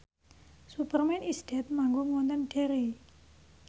Superman is Dead manggung wonten Derry